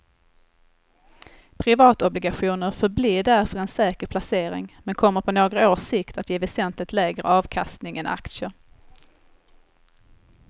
Privatobligationer förblir därför en säker placering men kommer på några års sikt att ge väsentligt lägre avkastning än aktier.